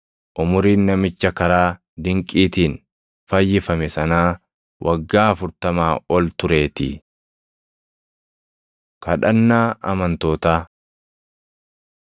Umuriin namicha karaa dinqiitiin fayyifame sanaa waggaa afurtamaa ol tureetii. Kadhannaa Amantootaa